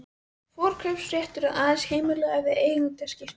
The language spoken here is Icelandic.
Forkaupsréttur er aðeins heimilaður við eigendaskipti.